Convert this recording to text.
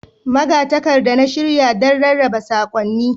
Magatakarda na shirya, da rarraba saƙonni.